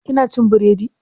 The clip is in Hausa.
Ki na cin biredi?